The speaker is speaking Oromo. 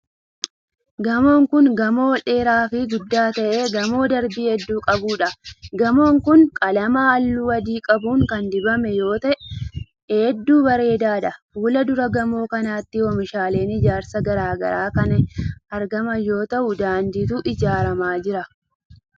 Gamoon kun, gamoo ol dheeraa fi guddaa ta'e gamoo darbii hedduu qabuu dha. Gamoon kun, qalama haalluu adii qabu kan dibame yoo ta'e, hedduu bareedaa dha. Fuuldura gamoo kanaatti oomishaaleen ijaarsaa garaa garaa kan argaman yoo ta'u, daanditu ijaaramaa jira.